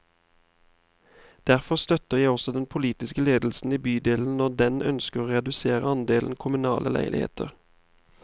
Derfor støtter jeg også den politiske ledelse i bydelen når den ønsker å redusere andelen kommunale leiligheter.